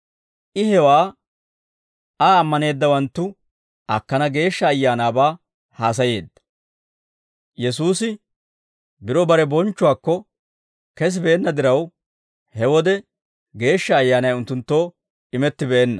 I hewaa Aa ammaneeddawanttu akkana Geeshsha Ayaanaabaa haasayeedda. Yesuusi biro bare bonchchuwaakko kesibeenna diraw, he wode Geeshsha Ayyaanay unttunttoo imettibeenna.